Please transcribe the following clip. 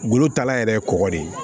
Golo taala yɛrɛ ye kɔgɔ de ye